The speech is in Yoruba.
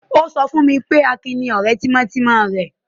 O sọ fún mi pé Akin ni ọ̀rẹ́ tímọ́tímọ́ rẹ̀.